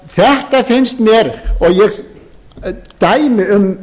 þetta finnst mér dæmi um